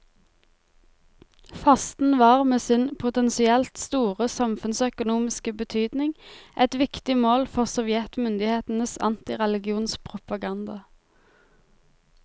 Fasten var med sin potensielt store samfunnsøkonomiske betydning et viktig mål for sovjetmyndighetenes antireligionspropaganda.